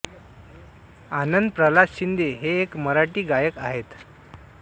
आनंद प्रल्हाद शिंदे हे एक मराठी गायक आहेत